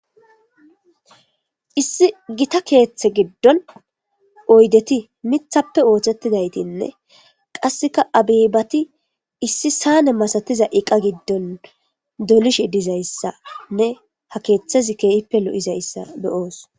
Issi Gita keethe gido oydeti mithape oothetidaytine qaseka abebati issi amsane masatiza eqa giddon dolishe dizaysane ha keethezi kehippe lo'ishe dizaysa be'os